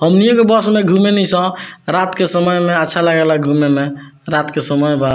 हमनियो के बस में घूमे नी सं रात के समय में अच्छा लागेला घूमे में रात के समय बा।